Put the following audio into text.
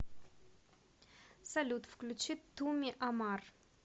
салют включи туми амар